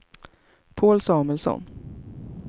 Paul Samuelsson